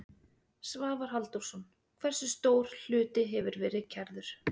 Svavar Halldórsson: Hversu stór hluti hefur verið kærður?